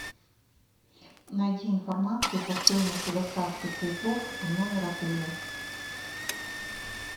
найди информацию по стоимости доставки цветов в номер отеля